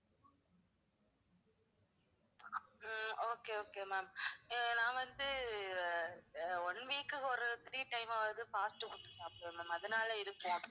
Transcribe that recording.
ஹம் okay, okay ma'am ah நான் வந்து ah one week க்கு ஒரு three time ஆவது வந்து fast food சாப்புடுவேன் ma'am அதுனால இருக்கும்?